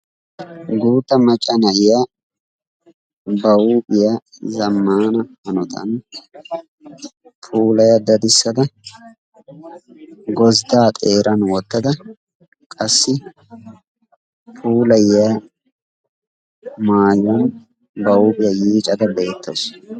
guutta macca na"iyaa ba huuphiya zammana hanottani puulaya dadissada gozidda xeeranni wottada qassi puulayiya maayuwani bari huuphiya yiiccada beettawsu.